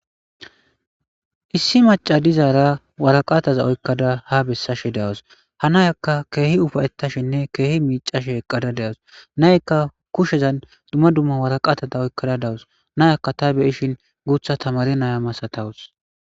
issi maca dizaara waraqaataza oykkada ha bessashe dawus ha nayakka keehi ufayettashinne keehi miicashe eqqada dewus naykka kushezan dumma dumma waraqaatada oykkada dawus nayakka ta beyishin guutha tamare naya masatawus